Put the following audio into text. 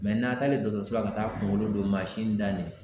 n'a taalen dɔɔtɔrɔso la ka taa kungolo don da ɲɛ na.